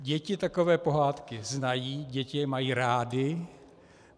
Děti takové pohádky znají, děti je mají rády.